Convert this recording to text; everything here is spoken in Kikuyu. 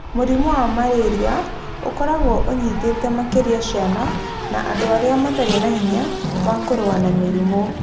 Mũrimũ wa malaria ũkoragwo ũnyitĩte makĩria ciana na andũ arĩa matarĩ na hinya wa kũrũa na na mĩrimũ.